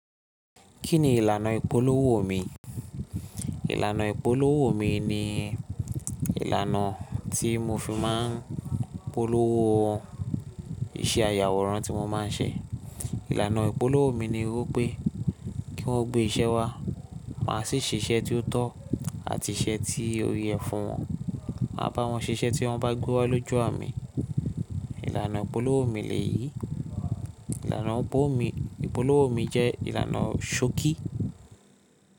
Kí ni ìlànà ìpolówó mi? Ìlànà ìpolówó mi ni ìlànà tí mo fi máa ń polówó iṣẹ́ ayàwòrán tí mo máa ń ṣe. Ìlànà ìpolówó mi ni wípé kí wón o gbé iṣẹ́ wá, máa sì ṣiṣẹ́ tí ó tọ́ àti iṣẹ́ tí ó yẹ fún wọn. Màá bá wọn ṣiṣẹ́ tí wọ́n bá gbewa lójú à mi. Ìlànà ìpolówó mi lèyí. Ìlànà ìpolówó mi jẹ́ ìlànà ṣokí.